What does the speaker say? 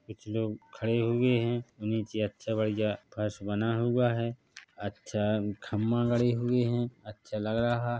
कुछ लोग खड़े हुए है नीचे अच्छा बढ़िया फर्श बना हुआ है अच्छा खंबा गड़े हुए हैं अच्छा लग रहा है ।